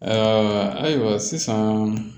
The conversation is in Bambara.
Ayiwa ayiwa sisan